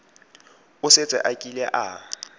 o setse a kile a